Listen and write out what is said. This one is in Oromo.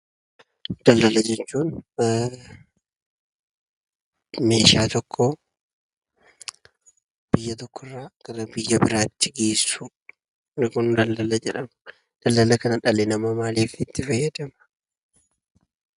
Daldala jechuun meeshaa tokko biyya biraa irraa gara biyya biraatti geessuu, warri kun 'daldala' jedhamu. Daldala kana dhalli namaa maaliif itti fayyadama?